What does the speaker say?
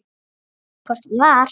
Hvort hún var!